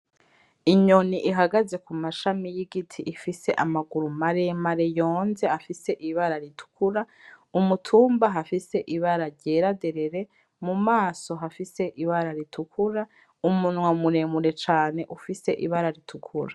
Inyoni ihagaze ku mashami y'igiti ifise amaguru maremare yonze afise ibara ritukura, ku mutumba hafise ibara ryera derere, mu maso hafise ibara ritukura, umunwa muremure cane ufise ibara ritukura.